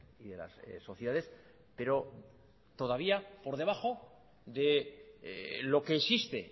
y de las sociedades pero todavía por debajo de lo que existe